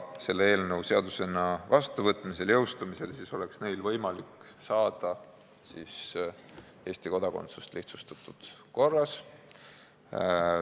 Selles eelnõus sätestatu seadusena vastuvõtmisel ja jõustumisel oleks neil võimalik saada Eesti kodakondsus lihtsustatud korras.